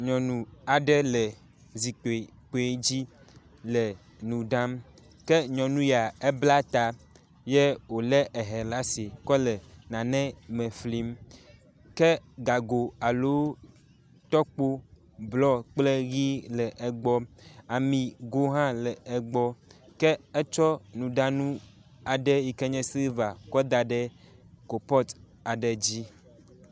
Nyɔnu aɖe le zikpui kpui dzi le nu ɖam ke nyɔnu ya ebla ta ye wo le hɛ ɖe asi kɔ le nane me flim ke gago alo tɔkpo blɔ kple ʋi le egbɔ. Amigo hã le egbɔ ke etsɔ nuɖanu aɖe yi ke nye silva kɔ da ɖe kopɔt aɖe dzi.